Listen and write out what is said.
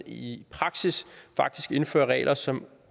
i praksis faktisk indfører regler som